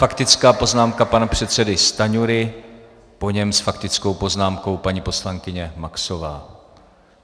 Faktická poznámka pana předsedy Stanjury, po něm s faktickou poznámkou paní poslankyně Maxová.